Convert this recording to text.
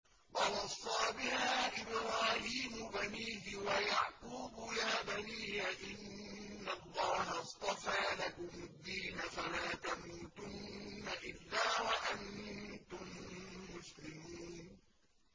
وَوَصَّىٰ بِهَا إِبْرَاهِيمُ بَنِيهِ وَيَعْقُوبُ يَا بَنِيَّ إِنَّ اللَّهَ اصْطَفَىٰ لَكُمُ الدِّينَ فَلَا تَمُوتُنَّ إِلَّا وَأَنتُم مُّسْلِمُونَ